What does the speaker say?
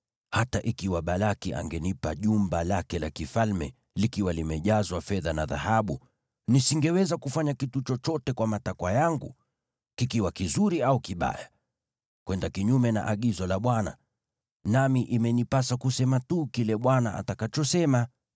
‘Hata ikiwa Balaki angenipa jumba lake la kifalme likiwa limejazwa fedha na dhahabu, nisingeweza kufanya kitu chochote kwa matakwa yangu, kikiwa kizuri au kibaya, kwenda kinyume na agizo la Bwana , nami imenipasa kusema tu kile Bwana atakachosema’?